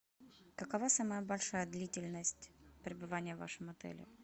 какова самая большая длительность пребывания в вашем отеле